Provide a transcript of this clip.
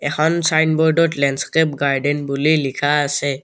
এখন ছাইনব'ৰ্ডত landscape garden বুলি লিখা আছে।